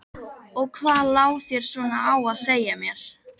Og hvað lá þér svona á að segja mér?